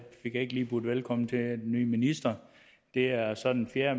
ikke lige budt velkommen til den nye minister det er så den fjerde